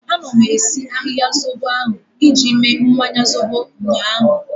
Anọ m esi ahịhịa zobo ahu iji mee mmanya zobo ụnyaahụ